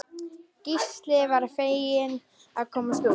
Gísli varð feginn að komast út.